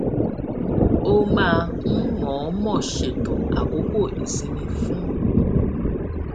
ó máa ń mọọmọ ṣètò àkókò ìsinmi fún